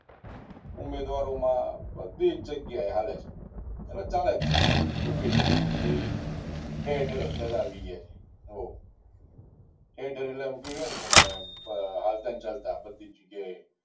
ઉમેદવારોમાં બધી જ જગ્યાએ હાલે છે એટલે ચાલે છે એવું કહી શકાય કે ભાઈ ઠેર ઠેર અત્યારે આવી ગાય છે ઠેર ઠેર એટલે ને તમે હાલતા ને ચાલતા બધી જગ્યાએ